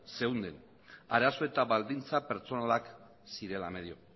zeuden arazo eta baldintza pertsonalak zirela medio